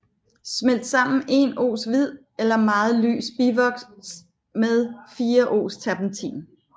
Smelt sammen 1 oz hvid eller meget lys bivoks med 4 oz terpentin